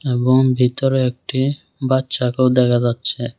এবং ভিতরে একটি বাচ্চাকেও দেখা যাচ্ছে।